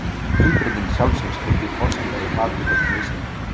Umbreyting sjálfsins er því forsenda í baráttu gegn misrétti.